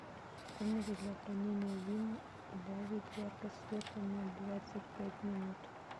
в комнате для хранения вин убавить яркость света на двадцать пять минут